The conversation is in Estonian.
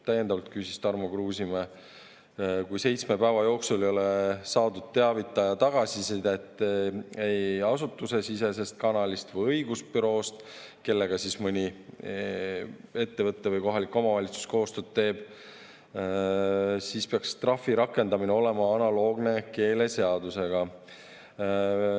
Täiendavalt küsis Tarmo Kruusimäe, et kui seitsme päeva jooksul ei ole saadud teavitaja tagasisidet ei asutusesisesest kanalist ega õigusbüroost, kellega mõni ettevõte või kohalik omavalitsus koostööd teeb, kas siis peaks trahvi rakendamine olema analoogne keeleseadusega.